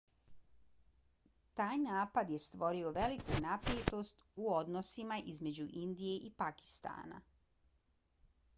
taj napad je stvorio veliku napetost u odnosima između indije i pakistana